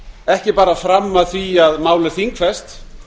ekki bara fram að því að mál er þingfest